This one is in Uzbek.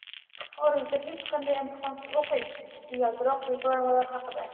"Xorijda hech qanday imtihonsiz o‘qing" – usti yaltiroq reklamalar haqida.